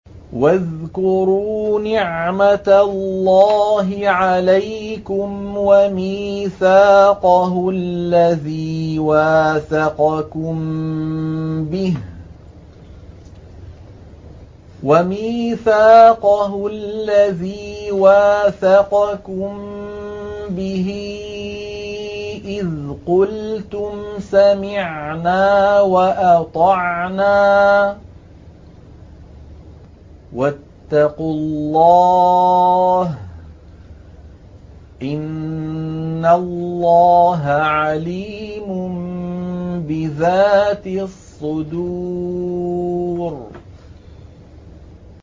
وَاذْكُرُوا نِعْمَةَ اللَّهِ عَلَيْكُمْ وَمِيثَاقَهُ الَّذِي وَاثَقَكُم بِهِ إِذْ قُلْتُمْ سَمِعْنَا وَأَطَعْنَا ۖ وَاتَّقُوا اللَّهَ ۚ إِنَّ اللَّهَ عَلِيمٌ بِذَاتِ الصُّدُورِ